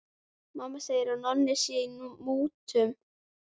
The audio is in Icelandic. Mamma segir að Nonni sé í mútum.